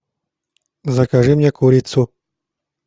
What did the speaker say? закажи мне курицу